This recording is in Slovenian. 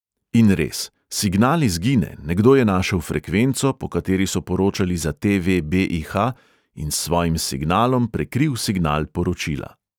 In res, signal izgine, nekdo je našel frekvenco, po kateri so poročali za te|ve be|i|ha in s svojim signalom prekril signal poročila.